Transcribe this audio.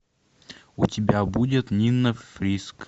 у тебя будет нина фриск